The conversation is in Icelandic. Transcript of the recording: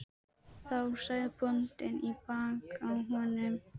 Þá sagði bóndi í bakið á honum